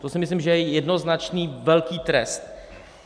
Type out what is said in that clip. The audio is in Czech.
To si myslím, že je jednoznačný velký trest.